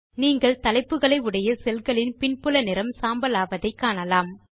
நீங்கள் தலைப்புகளை உடைய செல்களின் பின்புல நிறம் சாம்பல் ஆவதை காணலாம்